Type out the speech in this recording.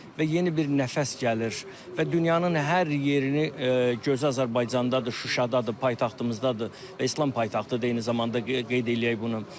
Və yeni bir nəfəs gəlir və dünyanın hər yerini gözəl Azərbaycandadır, Şuşadadır, paytaxtımızdadır və İslam paytaxtıdır eyni zamanda qeyd eləyək bunu.